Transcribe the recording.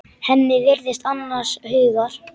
Hemmi virðist annars hugar.